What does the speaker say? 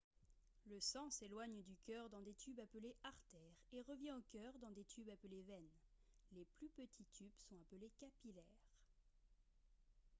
le sang s'éloigne du cœur dans des tubes appelés artères et revient au cœur dans des tubes appelés veines les plus petits tubes sont appelés capillaires